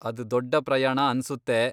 ಅದ್ ದೊಡ್ಡ ಪ್ರಯಾಣ ಅನ್ಸುತ್ತೆ.